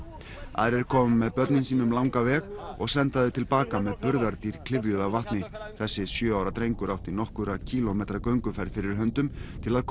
aðrir koma með börnin sín um langan veg og senda þau til baka með burðardýr klyfjuð af vatni þessi sjö ára drengur átti nokkurra kílómetra gönguferð fyrir höndum til að